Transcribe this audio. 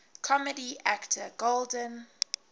comedy actor golden